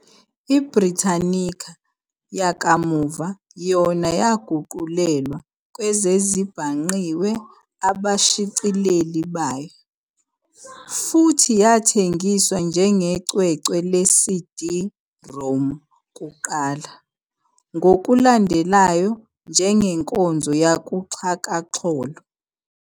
I-"Britannica" yakamuva yona yaguqulelwa kwezezibhangqiwe abashicileli bayo, futhi yathengiswa njengecwecwe le-CD-ROM kuqala, ngokulandelayo njengenkonzo yakuxhakaxholo.